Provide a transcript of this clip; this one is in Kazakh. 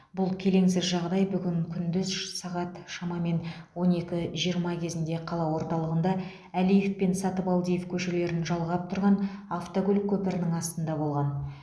бұл келеңсіз жағдай бүгін күндіз сағат шамамен он екі жиырма кезінде қала орталығында әлиев пен сатыбалдиев көшелерін жалғап тұрған автокөлік көпірінің астында болған